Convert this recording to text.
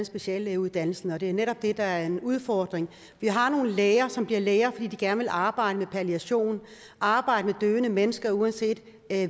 speciallægeuddannelse og det er netop det der er en udfordring vi har nogle læger som bliver læger fordi de gerne vil arbejde med palliation arbejde med døende mennesker uanset